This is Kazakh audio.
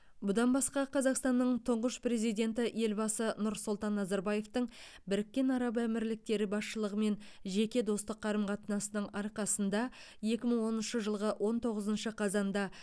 бұдан басқа қазақстанның тұңғыш президенті елбасы нұрсұлтан назарбаевтың біріккен араб әмірліктері басшылығымен жеке достық қарым қатынасының арқасында екі мың оныншы жылғы он тоғызыншы қазанда